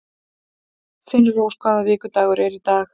Finnrós, hvaða vikudagur er í dag?